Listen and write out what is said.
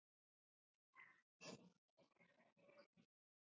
Hann hélt uppi fjöri.